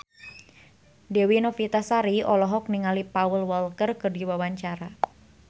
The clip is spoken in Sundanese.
Dewi Novitasari olohok ningali Paul Walker keur diwawancara